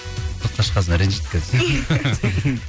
сыртқа шыққан соң ренжейді қазір